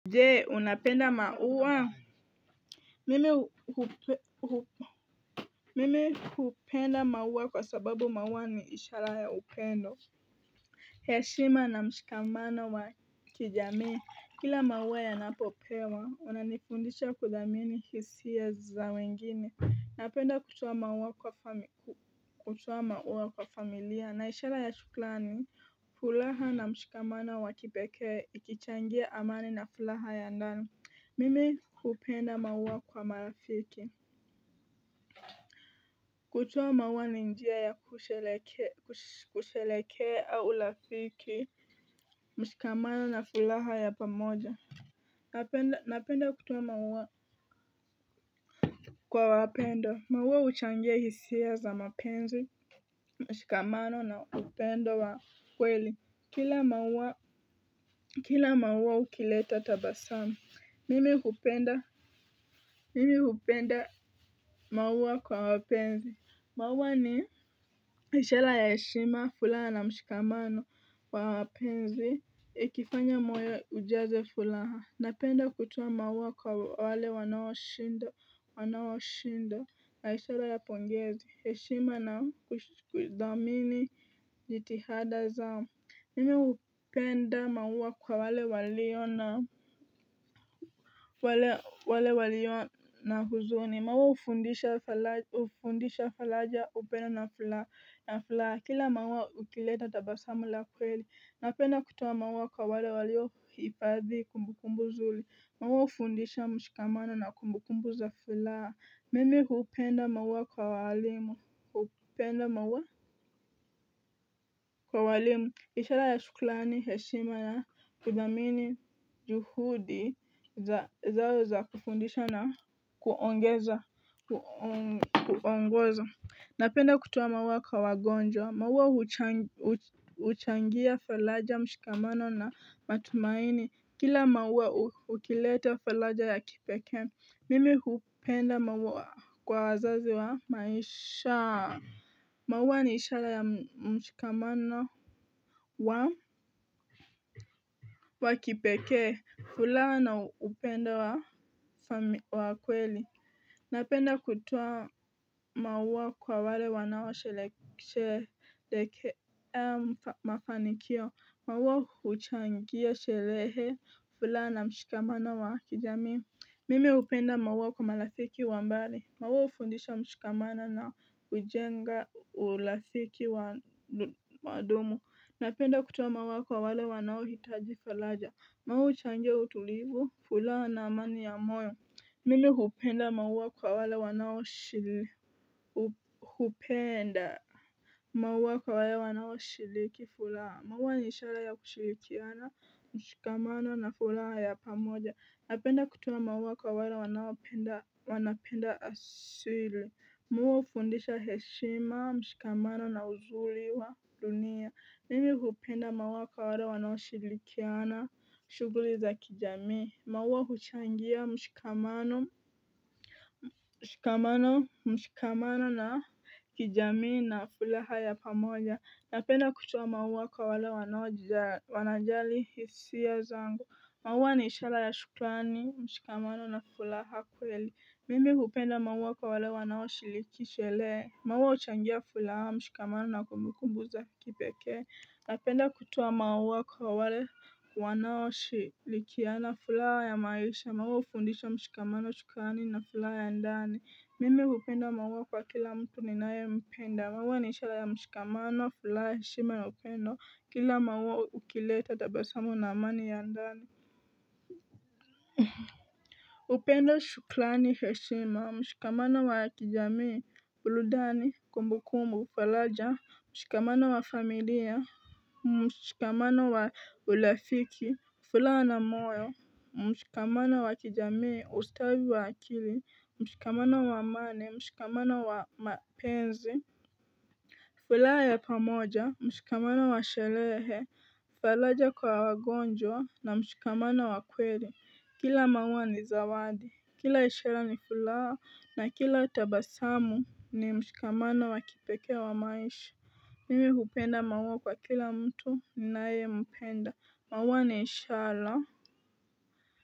Je, unapenda maua? Mi Mimi hupenda maua kwa sababu maua ni ishara ya upendo, heshima na mshikamano wa kijamii kila maua yanapopewa yananifundisha kudhamini hisia za wengine. Napenda kutoa maua kwa fami kutoa maua kwa familia na ishara ya shukrani, furaha na mshikamano wa kipekee ikichangia amani na furaha ya ndani. Mimi hupenda maua kwa marafiki kutoa maua ni njia ya kushereheke kush kusherehekea urafikii, mshikamano na furaha ya pamoja. Napenda kutoa maua kwa wapendwa. Maua huchangia hisia za mapenzi mshikamano na upendo wa kweli. Kila maua Kila maua hukileta tabasamu. Mimi hupenda, mimi hupenda maua kwa wapenzi. Maua ni ishara ya heshima, furaha na mshikamano kwa wapenzi, ikifanya moyo ujaze furaha, napenda kutoa maua kwa wale wanaoshinda, wanaoshinda, na ishara ya pongezi, heshima na kudhamini jitihada zao. Mimi hupenda maua kwa wale walio na, wale, wale walio na huzuni, maua hufundisha fara, hufundisha faraja upendo na furaha, kila maua hukileta tabasamu la kweli, napenda kutoa maua kwa wale walio hifadhi kumbukumbu nzuri, maua hufundisha mshikamano na kumbu kumbu za furaha, Mimi hupenda maua kwa walimu, hupenda maua kwa walimu, ishara ya shukrani, heshima ya kudhamini juhudi za, zao za kufundisha na kuongeza, kuo kuongoza. Napenda kutoa maua kwa wagonjwa. Maua huchangia faraja, mshikamano na matumaini. Kila maua hu hukileta faraja ya kipekee Mimi hupenda maua kwa wazazi wa maisha. Maua ni ishara ya mshikamano wa wa kipekee furaha na upendo wa wa kweli Napenda kutoa maua kwa wale wanaoshere sherehekea mafanikio. Maua huchangia sherehe, furaha na mshikamano wa kijamii. Mimi hupenda maua kwa marafiki wa mbali. Maua hufundisha mshikamano na hujenga urafiki wa wadumu Napenda kutoa maua kwa wale wanaohitaji kwa laja Mau huchangia utulivu, furaha na amani ya moyo Mimi hupenda maua kwa wale wanaoshiri, hu, hupenda maua kwa wale wanoshiriki furaha. Maua ni ishara ya kushirikiana, mshikamano na furaha ya pamoja, Napenda kutoa maua kwa wale wanaopenda wana penda asili. Maua hufundisha heshima, mshikamano na uzuri wa dunia. Mimi hupenda maua kwa wale wanaoshirikiana shughuli za kijamii maua huchangia mshikamano mshikamano mshikamano na kijamii na furaha ya pamoja. Napenda kutoa maua kwa wale wanaoja wanajali hisia zangu. Maua ni ishara ya shukrani, mshikamano na furaha kweli. Mimi hupenda maua kwa wale wanaoshiriki sherehe. Maua huchangia furaha, mshikamano na kumbukumbu za kipekee Napenda kutoa maua kwa wale wanao shirikiana furaha ya maisha maua hufundisha mshikamano, shukrani na furaha ya ndani. Mimi hupenda maua kwa kila mtu ninayempenda. Maua ni ishara ya mshikamano, furaha, heshima na upendo. Kila maua hukileta tabasamu na amani ya ndani upendo, shukrani, heshima, mshikamano wa kijamii, burudani, kumbukumbu, faraja, mshikamano wa familia mshikamano wa urafiki furaha na moyo mshikamano wa kijamii, ustawi wa akili, mshikamano wa amani, mshikamano wa mapenzi furaha ya pamoja mshikamano wa sherehe, faraja kwa wagonjwa na mshikamano wa kweli kila maua ni zawadi. Kila ishara ni furaha na kila tabasamu ni mshikamano wa kipekee wa maisha Mimi hupenda maua kwa kila mtu ninayempenda. Maua ni ishara.